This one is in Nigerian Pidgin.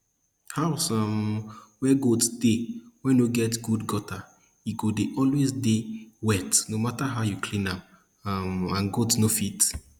house um wey goat dey wey no get good gutter e go dey always dey wet no matter how you clean am um and goat no fit